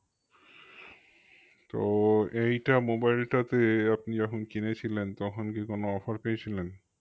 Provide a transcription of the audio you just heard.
তো এইটা mobile টা তে আপনি যখন কিনেছিলেন তখন কি কোনো offer পেয়েছিলেন?